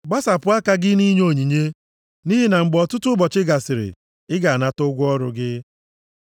Gbasapụ aka gị nʼinye onyinye nʼihi na mgbe ọtụtụ ụbọchị gasịrị ị ga-anata ụgwọ ọrụ gị.